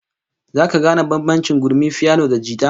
Zaka gane bambancin gurmin piyano da na jita?